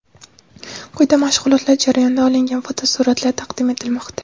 Quyida mashg‘ulotlar jarayonidan olingan fotosuratlar taqdim etilmoqda.